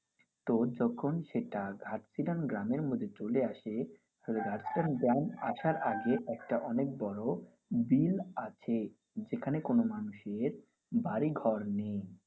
তো তখন সেটা ঘাটশিলান গ্রামের মধ্যে চলে আসে. তো ঘাটশিলান গ্রাম আসার আগে একটা বড় বিল আছে যেখানে কোনও মানুষের বাড়ি ঘর নেই.